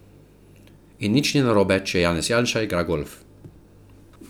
In nič ni narobe, če Janez Janša igra golf.